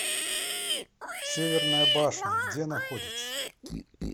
северная башня где находится